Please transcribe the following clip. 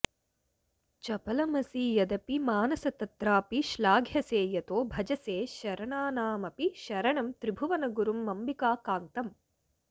चपलमसि यदपि मानस तत्रापि श्लाघ्यसे यतो भजसे शरणानामपि शरणं त्रिभुवनगुरुमम्बिकाकान्तम्